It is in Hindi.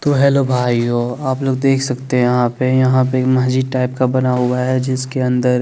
तो हेलो भाइयो आप लग देख सकते यहाँ पे यहाँ पे एक माजिद टाइप का बना हुआ है जिसके अन्दर --